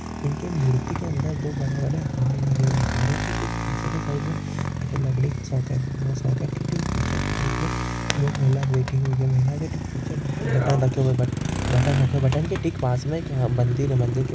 इनके मूर्ति के अंदर दो मूर्ती दो बड़े बड़े हार लगे हुए है। हारों ठीक पिछे के साईड मे एक लकडी का सॉकेट बना हुआ है सॉकेट के ठीक पिछे की साईड मे वो एक महिला बैठी हुई है वो महिला के ठीक पिछे बटन रखे हुए है बटन के ठीक पास मे एक मंदिर है। मंदिर के--